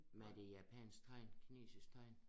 Men er det japansk tegn kinesisk tegn